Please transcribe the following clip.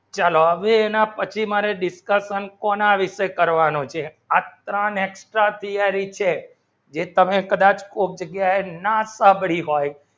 ચલો આવી મને discussion કોના વિષે કરવાનું છે આ ત્રણ એક્સપેર હી ન્યારી છે જે તમે કદાચ કુપડાય ના ટબરી હોય